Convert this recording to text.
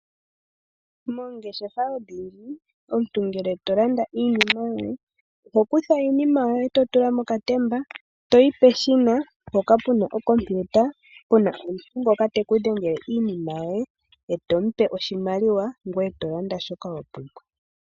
Moongeshefa odhindji omuntu ngele tolanda iinima yoye ohokutha iinima yoye totula mokatemba, toyi peshina mpoka pu na okompiuta, pu na omuntu ngoka teku dhengele iinima yoye, eto mu pe oshimaliwa ngoye tolanda shoka wa pumbwa.